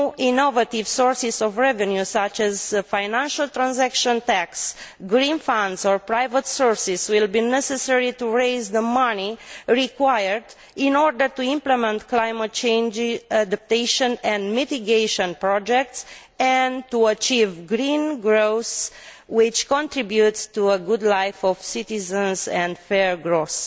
New innovative sources of revenue, such as a financial transaction tax, green funds or private sources will be necessary to raise the money required in order to implement climate change adaptation and mitigation projects and to achieve green growth, which contributes to a good life for citizens, and fair growth.